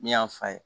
Ne y'a fa ye